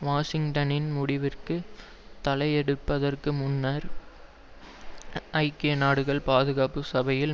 வாஷிங்டனின் முடிவிற்கு தலையெடுப்பதற்கு முன்னர் ஐக்கிய நாடுகள் பாதுகாப்பு சபையில்